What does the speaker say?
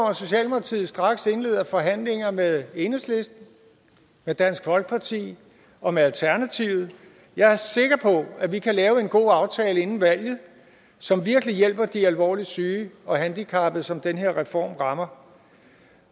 at socialdemokratiet straks indleder forhandlinger med enhedslisten med dansk folkeparti og med alternativet jeg er sikker på at vi kan lave en god aftale inden valget som virkelig hjælper de alvorligt syge og handicappede som den her reform rammer